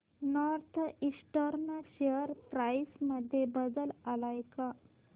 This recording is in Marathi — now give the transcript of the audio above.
नॉर्थ ईस्टर्न शेअर प्राइस मध्ये बदल आलाय का